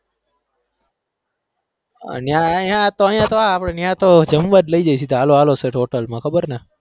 અને આ અહીંયા તો અહીંયા તો આ અહીંયા તો જમવા જ લઇ જઈએ હાલો હાલો સેઠ hotel માં ખબર ને.